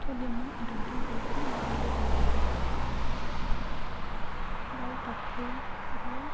Tolimu ntokitin pookin nidolita teene kadolita flame wall